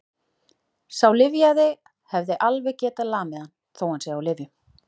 Sá lyfjaði hefði alveg getað lamið hann, þó að hann sé á lyfjum.